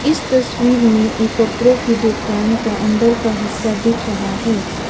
इस तस्वीर में ये कपड़ों की दुकान का अंदर का हिस्सा दिख रहा है।